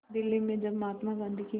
दिल्ली में जब महात्मा गांधी की